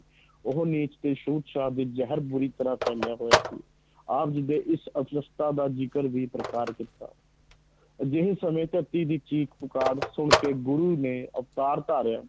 ਉਹ ਨੀਚ ਤੇ ਛੂਤ-ਛਾਤ ਦੇ ਜ਼ਹਿਰ ਬੁਰੀ ਤਰ੍ਹਾਂ ਫੈਲਿਆ ਹੋਇਆ ਸੀ ਆਪ ਜੀ ਦੇ ਇਸ ਅਵਸਥਾ ਦਾ ਜ਼ਿਕਰ ਵੀ ਪ੍ਰਕਾਰ ਕੀਤਾ ਅਜਿਹੇ ਸਮੇਂ ਧਰਤੀ ਦੀ ਚੀਖ-ਪੁਕਾਰ ਸੁਣ ਕੇ ਗੁਰੂ ਨੇ ਅਵਤਾਰ ਧਾਰਿਆ।